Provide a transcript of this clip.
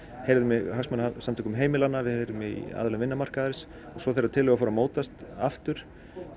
heyrðum í hagsmunasamtökum heimilanna heyrðum í aðilum vinnumarkaðarins og svo þegar tillögur fóru að mótast aftur